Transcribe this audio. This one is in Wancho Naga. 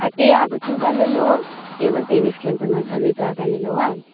te agu tuba lelo table tennis khenpe noikha leta aga nelo a.